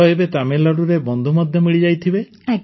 ତ ଏବେ ତ ତାମିଲନାଡୁରେ ବନ୍ଧୁ ମଧ୍ୟ ମିଳିଯାଇଥିବେ